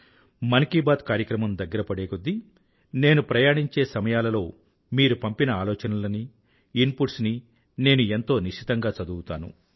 మన్ కీ బాత్ కార్యక్రమం దగ్గర పడేకొద్దీ నేను ప్రయాణించే సమయాలలో మీరు పంపిన ఆలోచనలనీ ఇన్పుట్స్ నీ నేను ఎంతో నిశితంగా చదువుతాను